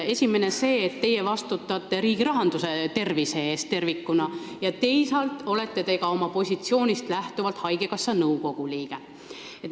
Esimene on see, et teie vastutate riigirahanduse tervise eest tervikuna, ja teisalt olete te oma positsioonist lähtuvalt haigekassa nõukogu liige.